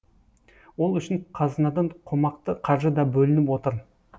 ол үшін қазынадан қомақты қаржы да бөлініп отыр